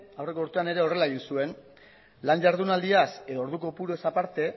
aurreko urtean ere horrela egin zuen lan jardunaldiaz edo ordu kopuruez aparte